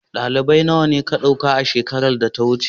dalibi guda nawa a Ka dauka shekaran da ta wuce